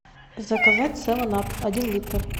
заказать севен ап один литр